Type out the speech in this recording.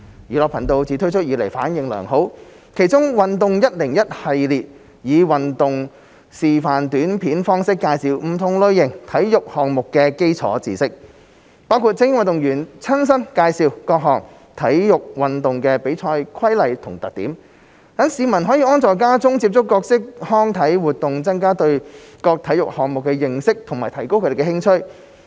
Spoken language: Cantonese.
"寓樂頻道"自推出以來反應良好，其中"運動教室 101" 系列以運動示範短片方式介紹不同類型體育項目的基礎知識，包括由精英運動員親身介紹各種體育運動的比賽規例和特點，讓市民可安坐家中接觸各式康體活動，增加對各體育項目的認識和提高興趣。